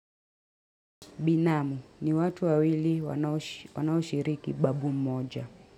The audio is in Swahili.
Binamu ni watu wawili wanaushiriki babu mmoja.